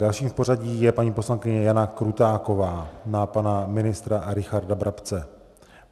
Dalším v pořadí je paní poslankyně Jana Krutáková na pana ministra Richarda Brabce.